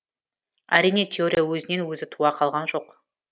әрине теория өзінен өзі туа қалған жоқ